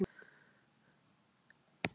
Tóku atvinnumálin í gíslingu